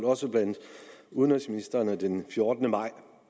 også blandt udenrigsministrene den fjortende maj to